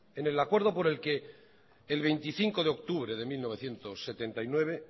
en el acuerdo por el que el veinticinco de octubre de mil novecientos setenta y nueve